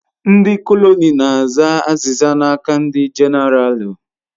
Ndi kọnel na aza aziza n'aka ndi genaralu